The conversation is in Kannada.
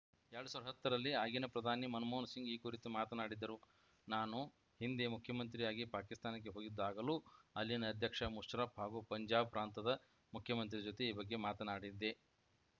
ಎರಡ್ ಸಾವಿರದ ಹತ್ತರಲ್ಲಿ ಆಗಿನ ಪ್ರಧಾನಿ ಮನಮೋಹನ ಸಿಂಗ್‌ ಈ ಕುರಿತು ಮಾತನಾಡಿದ್ದರು ನಾನು ಹಿಂದೆ ಮುಖ್ಯಮಂತ್ರಿಯಾಗಿ ಪಾಕಿಸ್ತಾನಕ್ಕೆ ಹೋಗಿದ್ದಾಗಲೂ ಅಲ್ಲಿನ ಅಧ್ಯಕ್ಷ ಮುಷರ್ರಫ್‌ ಹಾಗೂ ಪಂಜಾಬ್‌ ಪ್ರಾಂತದ ಮುಖ್ಯಮಂತ್ರಿ ಜೊತೆ ಈ ಬಗ್ಗೆ ಮಾತನಾಡಿದ್ದೆ